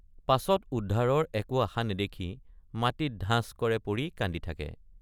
পাছত উদ্ধাৰৰ একো আশা নেদেখি মাটিত ধাঁচ কৰে পৰি কান্দি থাকে।